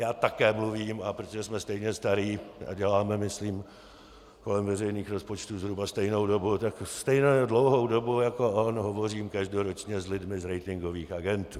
Já také mluvím, a protože jsme stejně staří a děláme myslím kolem veřejných rozpočtů zhruba stejnou dobu, tak stejně dlouhou dobu jako on hovořím každoročně s lidmi z ratingových agentur.